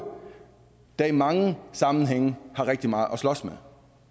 der i mange sammenhænge har rigtig meget at slås med